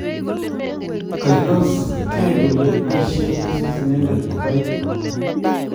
ka ilos kee kole paisien Asis inendet kopaigee